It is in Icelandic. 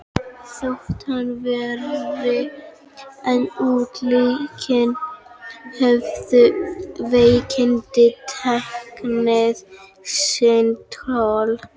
Þótt hann væri enn útitekinn höfðu veikindin tekið sinn toll.